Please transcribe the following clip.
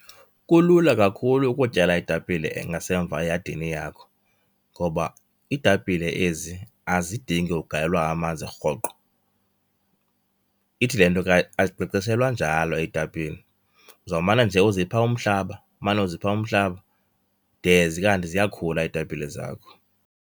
Kulula kakhulu ukutyala iitapile ngasemva eyadini yakho ngoba iitapile ezi azidingi ugalelwa amanzi rhoqo. Ithi le nto ke azinkcenkceshelwa njalo iitapile, uzawumane nje uzipha umhlaba, umane uzipha umhlaba de zikanti ziyakhula iitapile zakho.